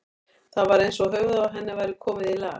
Það var eins og höfuðið á henni væri komið í lag.